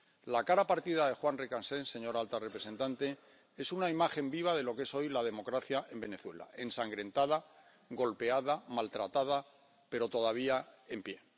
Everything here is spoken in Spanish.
La cara partida de Juan Requesens, señora alta representante, es una imagen viva de lo que es hoy la democracia en Venezuela ensangrentada, golpeada, maltratada, pero todavía en pie.